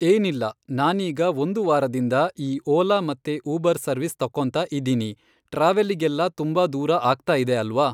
ಏನಿಲ್ಲ ನಾನೀಗ ಒಂದು ವಾರದಿಂದ ಈ ಓಲಾ ಮತ್ತೆ ಊಬರ್ ಸರ್ವಿಸ್ ತಕ್ಕೊಂತ ಇದ್ದೀನಿ ಟ್ರಾವೆಲಿಗೆಲ್ಲಾ ತುಂಬ ದೂರ ಆಗ್ತಾ ಇದೆ ಅಲ್ವಾ.